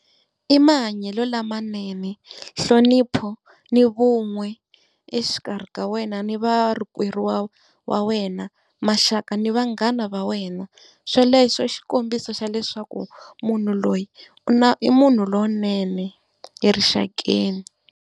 I mahanyelo lamanene, nhlonipho, ni vun'we exikarhi ka wena ni va rikweru wa wa wena, maxaka na vanghana va wena. Swoleswo i xikombiso xa leswaku munhu loyi u na, i munhu lonene erixakeni.